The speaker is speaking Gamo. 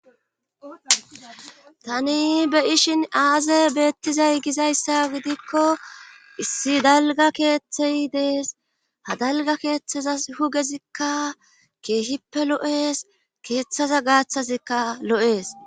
Tani be7ishin aazee beettizay gizayssa gidikko issi dalgga keethey des; ha dalgga keethazas dugezikka keehippe lo7es;keethaza gaathazikka lo7ees.